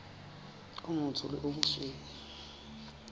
o motsho le o mosweu